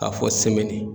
K'a fɔ